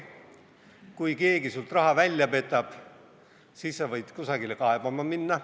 Kui keegi sinult raha välja petab, siis sa võid kusagile kaebama minna.